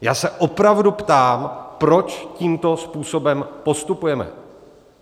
Já se opravdu ptám, proč tímto způsobem postupujeme.